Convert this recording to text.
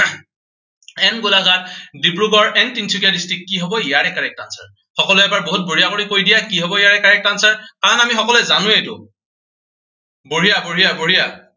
and Golaghat, Dibrugarh and Tinsukia district, কি হব ইয়াৰে correct answer । সকলোৱে এবাৰ বহুত বঢ়িয়া কৰি কৈ দিয়া, কি হব ইয়াৰে correct answer, কাৰণ আমি সকলোৱে জানোৱেই এইটো। বঢ়িয়া বঢ়িয়া বঢ়িয়া।